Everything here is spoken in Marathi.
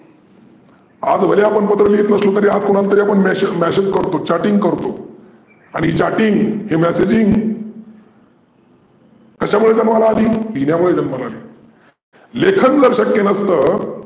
आज भले आपण पत्र लिहीत नसलो तरी आपण mesaage करतो chatting करतो. आणि chatting हे messaging कशामुळे जन्माला आली लिहिन्यामुळे जन्माला आली. लेखन जर शक्य नसतं तर